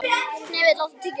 Hnefill, áttu tyggjó?